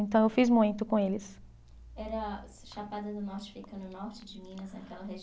Então, eu fiz muito com eles. Era, chapada do norte fica no norte de Minas naquela regi